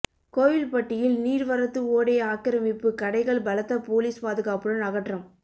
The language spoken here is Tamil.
கோவில்பட்டியில் நீர்வரத்து ஓடை ஆக்கிரமிப்பு கடைகள் பலத்த போலீஸ் பாதுகாப்புடன் அகற்றம்